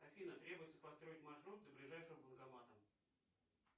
афина требуется построить маршрут до ближайшего банкомата